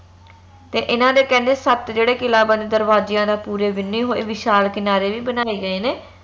ਤੇ ਇਹਨਾਂ ਦੇ ਕਹਿੰਦੇ ਸਤ ਜਿਹੜਾ ਕਿਲਾ ਬੰਦ ਦਰਵਾਜਿਆਂ ਦਾ ਪੂਰੇ ਵਿੰਨ੍ਹੇ ਹੋਏ ਵਿਸ਼ਾਲ ਕਿਨਾਰੇ ਵੀ ਬਣਾਏ ਗਏ ਨੇ